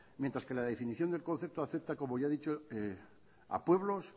mientras que la definición del concepto acepta como ya he dicho a pueblos